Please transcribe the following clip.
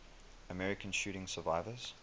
american shooting survivors